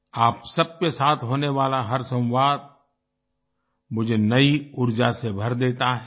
आप सबके साथ होने वाला हर संवाद मुझे नई ऊर्जा से भर देता है